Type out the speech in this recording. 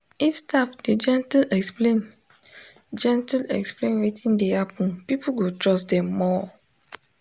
if staff dey gentle explain gentle explain wetin dey happen people go trust dem more.